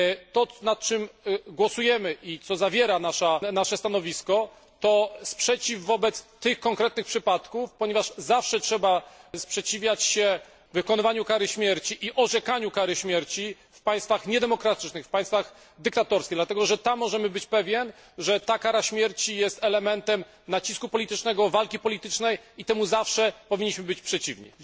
To, nad czym głosujemy i co zawiera nasze stanowisko, to sprzeciw wobec tych konkretnych przypadków, ponieważ zawsze trzeba sprzeciwiać się wykonywaniu i orzekaniu kary śmierci w państwach niedemokratycznych, w państwach dyktatorskich, dlatego że możemy być pewni, że tam kara śmierci jest elementem nacisku politycznego, walki politycznej, i temu zawsze powinniśmy być przeciwni.